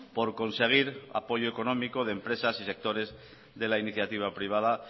por conseguir apoyo económico de empresas y sectores de la iniciativa privada